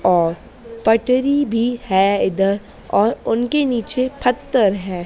और पटरी भीं हैं इधर और उनके नीचे फत्थर हैं।